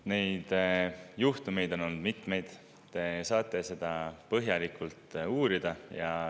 Neid juhtumeid on olnud mitmeid, te saate seda põhjalikult uurida.